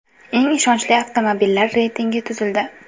Eng ishonchli avtomobillar reytingi tuzildi.